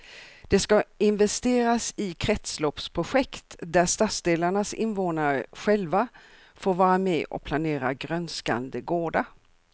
Det ska investeras i kretsloppsprojekt där stadsdelarnas invånare själva får vara med och planera grönskande gårdar.